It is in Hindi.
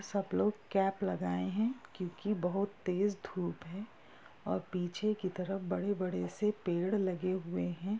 सब लोग कैप लगाए हैं। क्यूंकि बहुत तेज धूप है। और पीछे की तरफ बड़े-बड़े से पेड़ लगे हुऐ हैं।